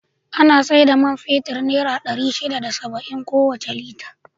Ana sai da man fetur naira ɗari shida da saba'in kowace Lita.